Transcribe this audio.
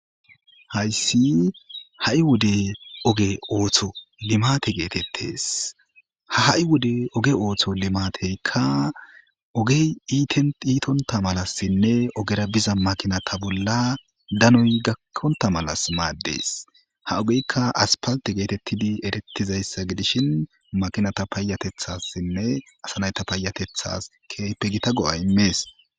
Hays ha' wode ootho limate getetes, ha' wode oge ootho limateyka ogey itonta malasinne ogera biza makinata bolla danoy gakonta malas mades, ha ogeyka aspalte getetid eretizaysa gidishn makinata payatethasinne asa nayta payatethas keehippe Gita go'a imes.